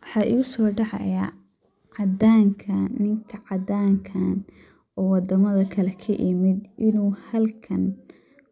Waxaa igusoo dhacaya, caddanka ninka caddanka ah ,oo waddamada kale ka imid inuu halkan